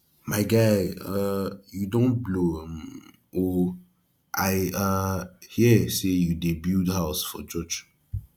my guy um you don blow um oo i um hear say you dey build house for church